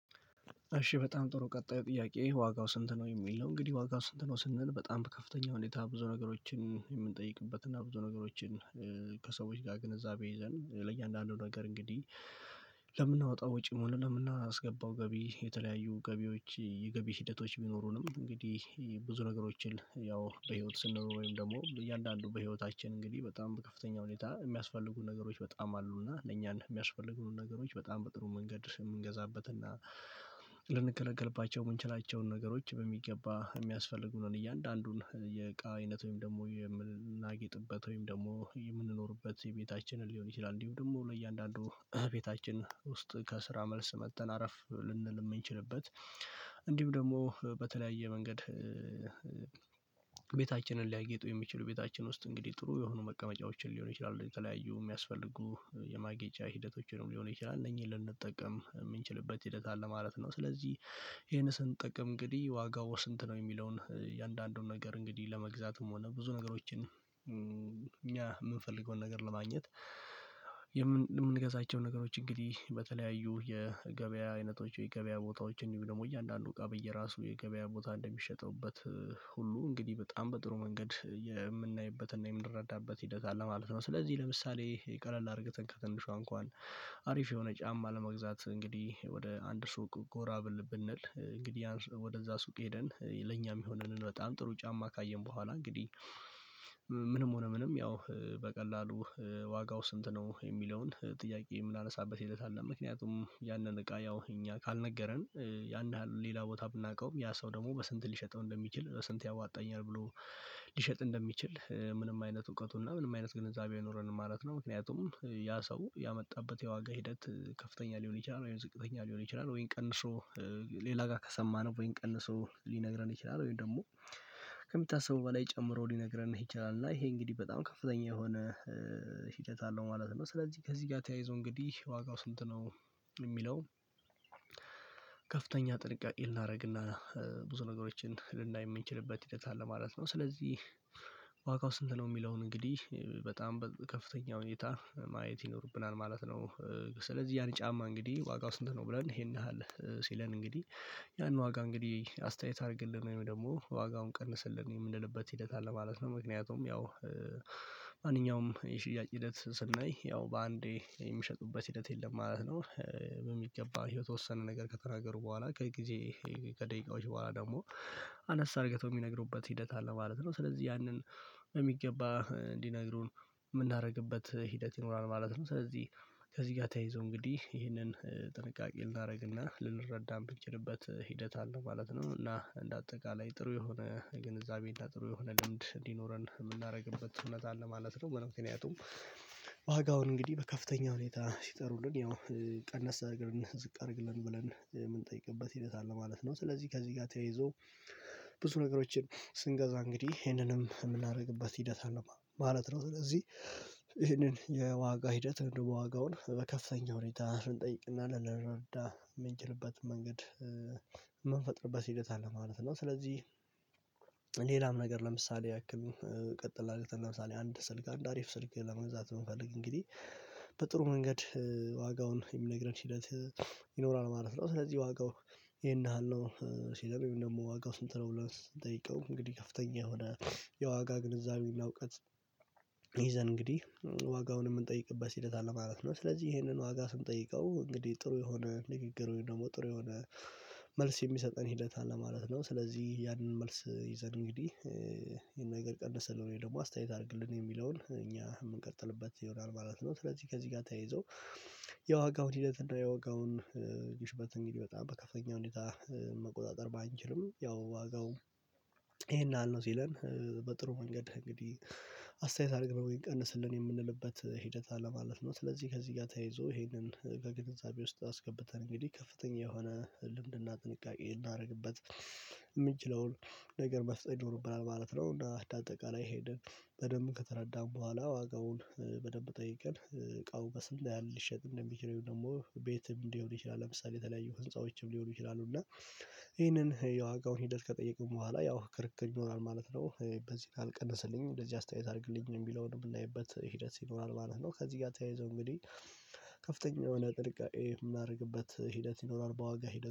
እሺ በጣም ጥሩ ቀጣይ ጥያቄ ዋጋው ስንት ነው? የሚለው እንግዲህ ዋጋው ስንት ነው ስንል በጣም ከፍተኛ ሁኔታ ብዙ ነገሮችን የምንጠይቅበት እና ብዙ ነገሮችን ከሰዎች ጋር ግንዛቤ ይዘን ለእያንዳንዱ ነገር እንግዲህ። ለምናወጣው ወጪም ሆነም ለምናስገባው ገቢ የተለያዩ ገቢዎች የገቢ ሂደቶች ቢኖሩንም እንግዲህ ብዙ ነገሮችን ያው በህይወት ወይም ደግሞ እያንዳንዱ በህይወታችን እንግዲህ በጣም በከፍተኛ ሁኔታ የሚያስፈልጉን ነገሮች በጣም አሉ። እና ለእኛን የሚያስፈልጉንን ነገሮች በጣም በጥሩ መንገድ የምንገዛበት እና ልንገለገልባቸው የምንችላቸውን ነገሮች በሚገባ የሚያስፈልጉንን እያንዳንዱን የእቃ አይነት ወይም ደግሞ የምናጊጥበት ወይም ደግሞ የምንኖርበት የቤታችንን ሊሆን ይችላል እንዲሁ ደግሞ ለእያንዳንዱ ቤታችን ውስጥ ከስራ መልስ መጥተን አረፍ ልንል የምንችልበት። እንዲሁም ደግሞ በተለያየ መንገድ። ቤታችንን ሊያጌጡ የሚችሉ ቤታችን ውስጥ እንግዲህ ጥሩ የሆኑ መቀመጫዎችን ሊሆን ይችላሉ የተለያዩ የሚያስፈልጉ የማጌጫ ሂደቶችንም ሊሆን ይችላል እነዚህን ልንጠቀም የምንችልበት ሂደት አለ ማለት ነው። ስለዚህ ይሄን ስንጠቀም እንግዲህ ዋጋው ስንት ነው የሚለውን የአንዳንዱን ነገር እንግዲህ ለመግዛትም ሆነ ብዙ ነገሮችን እኛ የምንፈልገውን ነገር ለማግኘት። የምንገዛቸው ነገሮች እንግዲህ በተለያዩ የገበያ አይነቶች የገበያ ቦታዎችን እንዲሁም ደግሞ እያንዳንዱ እቃ በየራሱ የገበያ ቦታ እንደሚሸጥበት ሁሉ እንግዲህ በጣም በጥሩ መንገድ የምናይበትና የምንረዳበት ሂደት አለ ማለት ነው። ስለዚህ ለምሳሌ ቀለል አድርገን ከትንሿ እንኳን አሪፍ የሆነ ጫማ ለመግዛት እንግዲህ ወደ አንድ ሱቅ ጎራ ብል ብንል እንግዲህ ወደዛ ሱቅ ሄደን ለኛ ሚሆነንን በጣም ጥሩ ጫማ ካየን በኋላ እንግዲህ ምንም ሆነ ምንም ያው በቀላሉ ዋጋው ስንት ነው የሚለውን ጥያቄ የምናነሳበት ሂደት አለ። ምክንያቱም ያንን እቃ ያው እኛ ካልነገረን ያን ያህል ሌላ ቦታ ብናውቀውም ያ ሰው ደግሞ በስንት ሊሸጠው እንደሚችል ስንት ያዋጣኛል ብሎ ሊሸጥ እንደሚችል ምንም አይነት እውቀቱና ምንም አይነት ግንዛቤው አይኖረንም ማለት ነው። ምክንያቱም ያ ሰው ያመጣበት የዋጋ ሂደት ከፍተኛ ሊሆን ይችላል። ወይም የዝቅተኛ ሊሆን ይችላል ወይም ቀንሶ ሌላ ጋር ከሰማነው ወይን ቀንሶ ሊነግረን ይችላል። ወይም ደግሞ ከሚታሰበው በላይ ጨምሮ ሊነግረን ይችላል። እና ይሄ እንግዲህ በጣም ከፍተኛ የሆነ ሂደት አለው ማለት ነው። ስለዚህ ከዚህ ጋር ተያይዞ እንግዲህ ዋጋው ስንት ነው? የሚለው ከፍተኛ ጥንቃቄ ልናደርግና ብዙ ነገሮችን ልናይ የምንችልበት ሂደት አለ ማለት ነው። ስለዚህ ዋጋው ስንት ነው የሚለውን እንግዲህ በጣም በከፍተኛ ሁኔታ ማየት ይኖርብናል ማለት ነው። ስለዚህ ያን ጫማ እንግዲህ ዋጋው ስንት ነው ብለን ይሄን ያህል ሲለን እንግዲህ ያን ዋጋ እንግዲህ አስተያየት አድርግልን ወይም ደግሞ ዋጋውን ቀንስልን የምንልበት ሂደት አለ ማለት ነው። ምክንያቱም ያው ማንኛውም የሽያጭ ሂደት ስናይ ያው በአንዴ የሚሸጡበት ሂደት የለም ማለት ነው። በሚገባ የተወሰነ ነገር ከተናገሩ በኋላ ከጊዜ ከደቂቃዎች በኋላ ደግሞ አነስ አድርገው የሚነግሩበት ሂደት አለ ማለት ነው። ስለዚህ ያንን በሚገባ እንዲነግሩን የምናደርግበት ሂደት ይኖራል ማለት ነው። ስለዚህ ከዚህ ጋር ተያይዞ እንግዲህ ይህንን ጥንቃቄ ልናደርግና ልንረዳ የምንችልበት ሂደት አለ ማለት ነው። እና እንደ አጠቃላይ ጥሩ የሆነ ግንዛቤ እና ጥሩ የሆነ ልምድ እንዲኖረን የምናደርግበት እውነት አለ ማለት ነው። ምክንያቱም ዋጋውን እንግዲህ በከፍተኛ ሁኔታ ሲጠሩልን ያው ቀነስ አድርግልን ዝቅ አድርግልን ብለን የምንጠይቅበት ሂደት አለ ማለት ነው። ስለዚህ ከዚህ ጋር ተያይዞ ብዙ ነገሮችን ስንገዛ እንግዲህ ይሄንንም የምናደርግበት ሂደት አለ ማለት ነው። ስለዚህ ይሄንን የዋጋ ሂደት ወይም ደግሞ ዋጋውን በከፍተኛ ሁኔታ ልንጠይቅና ልንረዳ የምንችልበት መንገድ የምንፈጥርበት ሂደት አለ ማለት ነው። ስለዚህ ሌላም ነገር ለምሳሌ ያክል ቀጥላ ለምሳሌ አንድ ስልክ አንድ አሪፍ ስልክ ለመግዛት ብንፈልግ እንግዲህ በጥሩ መንገድ ዋጋውን የሚነግረን ሂደት ይኖራል ማለት ነው። ስለዚህ ዋጋው ይሄን ያህል ነው ሲለን ወይም ደግሞ ዋጋው ስንት ነው ብለን ስንጠይቀው እንግዲህ ከፍተኛ የሆነ የዋጋ ግንዛቤ እና እውቀት እንግዲህ ዋጋውን የምንጠይቅበት ሂደት አለ ማለት ነው። ስለዚህ ይሄንን ዋጋ ስንጠይቀው እንግዲህ ጥሩ የሆነ ንግግር ወይም ደግሞ ጥሩ የሆነ መልስ የሚሰጠን ሂደት አለ ማለት ነው። ስለዚህ ያንን መልስ ይዘን እንግዲህ ነገር ቀንስልን ወይም ደግሞ አስተያየት አድርግልን የሚለውን እኛ የምንቀጥልበት ይሆናል ማለት ነው። ስለዚህ ከዚህ ጋር ተያይዞ የዋጋውን ሂደት እና የዋጋውን ግሽበት እንግዲህ በጣም በከፍተኛ ሁኔታ መቆጣጠር ባንችልም ያው ዋጋው ይሄን ያህል ነው ሲለን በጥሩ መንገድ እንግዲህ አስተያየት አድርግልን ወይም ቀንስልን የምንልበት ሂደት አለ ለማለት ነው። ስለዚህ ከዚህ ጋር ተያይዞ ይሄንን ከግንዛቤ ውስጥ አስገብተን እንግዲህ ከፍተኛ የሆነ ልምድና ጥንቃቄ እናደርግበት የምንችለውን ነገር መፍጠር ይኖርብናል ማለት ነው። እና አንደአጠቃላይ ሄሄንን በደንብ ከተረዳን በኋላ ዋጋውን በደንብ ጠይቀን እቃው በስ ምን ያህል ሊሸጥ እንደሚችል ወይም ደግሞ ቤትም ሊሆን ይችላል። ለምሳሌ የተለያዩ ህንፃዎችም ሊሆኑ ይችላሉ። እና ይህንን የዋጋውን ሂደት ከጠየቅን በኋላ ያው ክርክር ይኖራል ማለት ነው። በዚህ ካልቀነሰልኝ እንደዚህ አስተያየት አድርግልኝ የሚለውን የምናይበት ሂደት ይኖራል ማለት ነው። ከዚህ ጋር ተያይዞ እንግዲህ ከፍተኛ የሆነ ጥንቃቄ የምናደርግበት ሂደት ይኖራል በዋጋ ሂደት